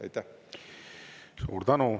Suur tänu!